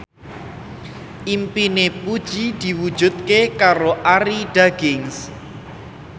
impine Puji diwujudke karo Arie Daginks